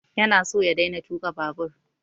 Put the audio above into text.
Ya na so ya daina tuƙa babur